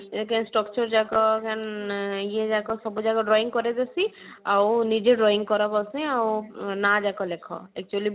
ଏକେ structure ଯାକ ଆଁ ଇଏ ଯାକ ସବୁ ଯାକ drawing କରିବାର ଅଛି ଆଉ ନିଜେ drawing କର ଭଲସେ ଆଉ ନାଁ ଯାକ ଲେଖ actually